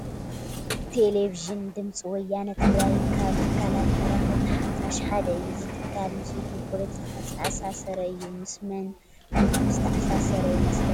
ቴለቪዥን ድምፂ ወያነ ትግራይ ካብ ትካላት መራኸብቲ ሓፋሽ ሓደ እዩ፡፡ እዚ ትካል ምስ ውድብ ፖለቲካ ዝተኣሳሰረ እዩ፡፡ ምስ መን ውድብ ዝተኣሳሰረ ይመስለኹም?